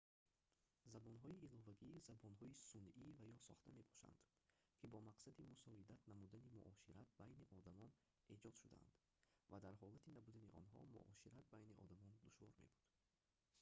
забонҳои иловагӣ забонҳои сунъӣ ва ё сохта мебошанд ки бо мақсади мусоидат намудани муошират байни одамон эҷод шудаанд ва дар ҳолати набудани онҳо муошират байни одамон душвор мебуд